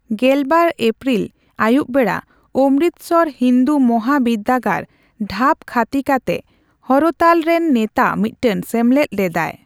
ᱜᱮᱞᱵᱟᱨ ᱮᱯᱨᱤᱞ ᱟᱹᱭᱩᱵ ᱵᱮᱲᱟ ᱚᱢᱨᱤᱛᱥᱚᱨ ᱦᱤᱱᱫᱩ ᱢᱚᱦᱟᱵᱤᱨᱫᱟᱹᱜᱟᱲᱼᱰᱷᱟᱵ ᱠᱷᱟᱛᱤᱠᱟᱱᱮ ᱦᱚᱨᱚᱛᱟᱞ ᱨᱮᱱ ᱱᱮᱛᱟ ᱢᱤᱫᱴᱟᱝ ᱥᱮᱢᱞᱮᱫ ᱞᱮᱫᱟᱭ᱾